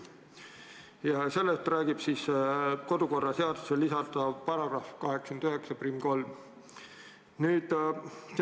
Ja sellest räägib kodukorraseadusse lisatav § 891.